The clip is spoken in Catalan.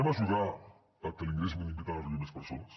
ajudarem a que l’ingrés mínim vital arribi a més persones